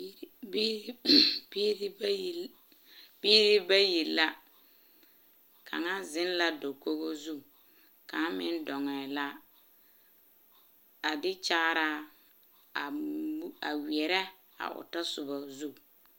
Biiri bayi la kaŋa ziŋ la dakogo zu kaŋ meŋ dɔɛ la a de kyaaraa a weɛrɛ a o tasoba zu.